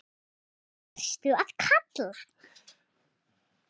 hvern varstu að kalla?